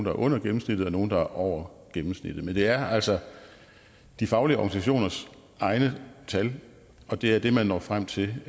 er under gennemsnittet og nogle der er over gennemsnittet men det er altså de faglige organisationers egne tal og det er det man når frem til